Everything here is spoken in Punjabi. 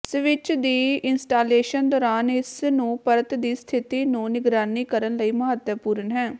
ਸਵਿੱਚ ਦੀ ਇੰਸਟਾਲੇਸ਼ਨ ਦੌਰਾਨ ਇਸ ਨੂੰ ਪਰਤ ਦੀ ਸਥਿਤੀ ਨੂੰ ਨਿਗਰਾਨੀ ਕਰਨ ਲਈ ਮਹੱਤਵਪੂਰਨ ਹੈ